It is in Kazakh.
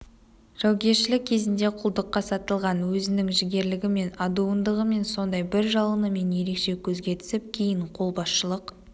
жаугершілік кезінде құлдыққа сатылған өзінің жігерлігімен адуындығымен сондай бір жалынымен ерекше көзге түсіп кейін қолбасшылық